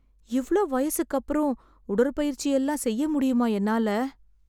இவ்ளோ வயசுக்கு அப்புறம் உடற்பயிற்சி எல்லாம் செய்ய முடியுமா என்னால?